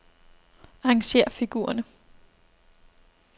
Arrangér figurerne.